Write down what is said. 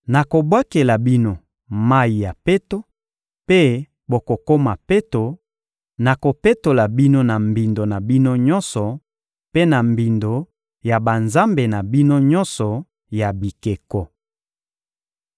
Nakobwakela bino mayi ya peto, mpe bokokoma peto; nakopetola bino na mbindo na bino nyonso mpe na mbindo ya banzambe na bino nyonso ya bikeko.